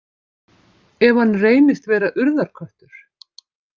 Ef hann reynist vera Urðarköttur.